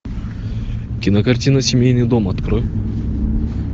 кинокартина семейный дом открой